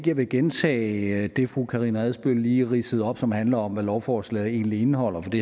jeg vil gentage det fru karina adsbøl lige ridsede op som handler om hvad lovforslaget egentlig indeholder det